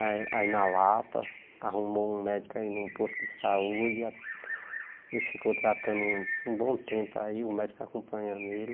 Aí aí na Lapa, arrumou um médico aí num posto de saúde, ele ficou tratando um um bom tempo aí, o médico acompanhou ele.